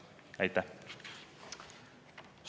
Aitäh!